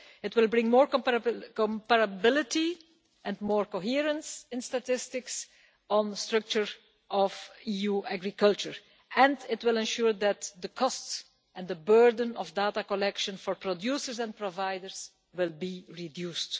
It will bring more comparability and more coherence in statistics on the structure of EU agriculture, and it will ensure that the costs and the burden of data collection for producers and providers will be reduced.